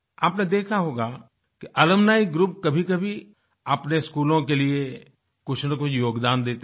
आपने देखा होगा कि अलुम्नी ग्रुप कभीकभी अपने स्कूलों के लिए कुछनकुछ योगदान देते हैं